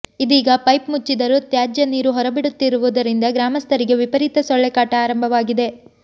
ಇದೀಗ ಪೈಪ್ ಮುಚ್ಚಿದ್ದರೂ ತ್ಯಾಜ್ಯ ನೀರು ಹೊರಬಿಡುತ್ತಿರುವುದರಿಂದ ಗ್ರಾಮಸ್ಥರಿಗೆ ವಿಪರೀತ ಸೊಳ್ಳೆ ಕಾಟ ಆರಂಭವಾಗಿದೆ